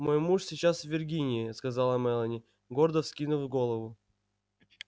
мой муж сейчас в виргинии сказала мелани гордо вскинув голову